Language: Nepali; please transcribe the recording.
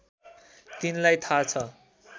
तिनलाई थाहा छ